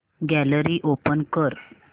gallery open कर